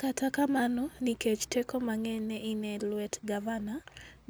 Kata kamano, nikech teko mang'eny ne ni e lwet Gavana,